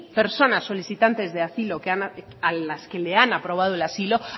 personas solicitantes de asilo a las que le han aprobado el asilo